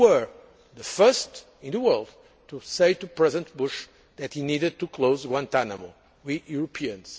We were the first in the world to say to President Bush that he needed to close Guantánamo we Europeans.